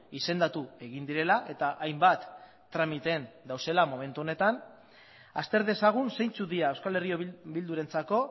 izendatu egin direla eta hainbat tramiteen daudela momentu honetan azter dezagun zeintzuk dira euskal herria bildurentzako